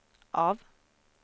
av